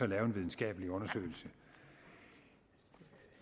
lave en videnskabelig undersøgelse